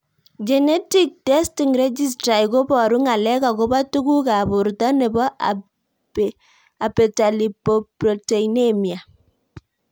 Genetic testing registry ko paru ng'alek akopo tuguk ab porto nepo Abetalipoproteinemia